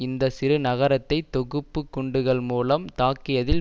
இந்த சிறு நகரத்தை தொகுப்பு குண்டுகள் மூலம் தாக்கியதில்